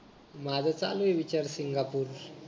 माझा चालूय विचार सिंगापूर